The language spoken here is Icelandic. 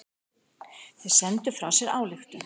Þeir sendu frá sér ályktun.